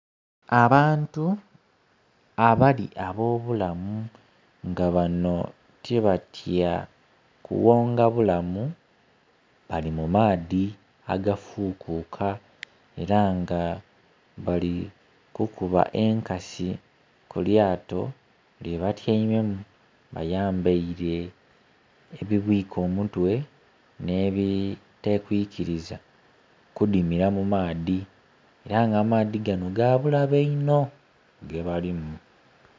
Abantu abali abo bulamu nga bano tibatya kughonga bulamu bali mu maadhi agafukuka era nga bali kukuba enkasi kulyato lye batyeimemu. Bayambeire ebibwika omutwe n'ebitakwikiriza kudimira mu maadhi, era nga amaadhi gano ga bulabe inho ge balimu.